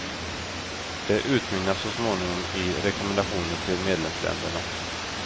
Det utmynnar så småningom i rekommendationer till medlemsländerna.